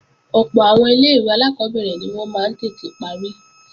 Ọ̀pọ̀ àwọn ilé-ìwé alákọ́bẹ̀rẹ̀ ni wọ́n máa ń tètè parí